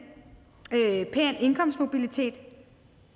pæn indkomstmobilitet